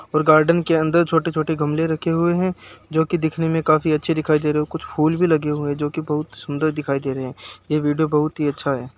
और गार्डन के अंदर छोटे-छोटे गमले रखे हुए हैं जो कि दिखने में काफी अच्छे दिखाई दे रहे हैं और कुछ फूल भी लगे हुए है जो कि बहुत सुंदर दिखाई दे रहे है ये वीडियो बहुत ही अच्छा है।